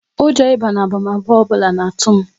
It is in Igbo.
Ụjọ ịba na abamaba ọbụla n'atu m